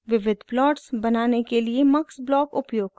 * विविध प्लॉट्स बनाने के लिए mux ब्लॉक उपयोग करना